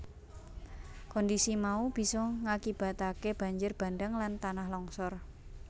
Kondhisi mau bisa ngakibataké banjir bandhang lan tanah longsor